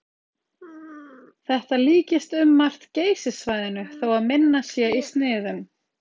Þetta líkist um margt Geysissvæðinu þó að minna sé í sniðum.